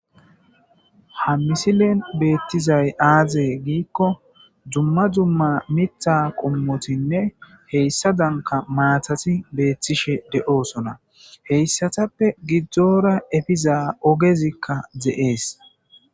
Ha misilen beettizay aaze giikko dumma dumma mitha qommotinne heyssa danka maatati beettishe de'oosona, heyssatappe gidzdzoora efiza ogezikka de'ees.